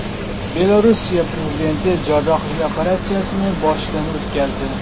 Belorussiya prezidenti jarrohlik operatsiyasini boshidan o‘tkazdi.